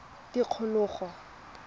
tikologo